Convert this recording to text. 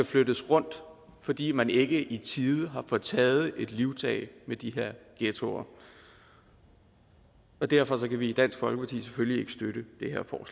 flyttes rundt fordi man ikke i tide har fået taget et livtag med de her ghettoer og derfor kan vi i dansk folkeparti selvfølgelig ikke støtte